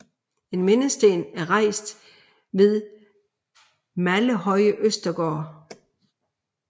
En mindesten er rejst ved Mallehøje Østergård